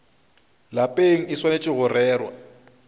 lapeng e swanetše go rerwa